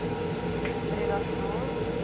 bredasdorp